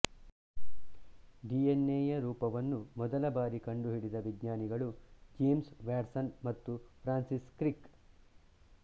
D N ಎಯ ರೂಪವನ್ನು ಮೊದಲ ಬಾರಿ ಕಂಡುಹಿಡಿದಿದ ವಿಜ್ಞಾನಿಗಳು ಜೇಮ್ಸ್ ವ್ಯಾಟ್ಸನ್ ಮತ್ತು ಫ್ರಾನ್ಸಿಸ್ ಕ್ರಿಕ್